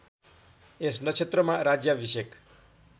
यस नक्षत्रमा राज्याभिषेक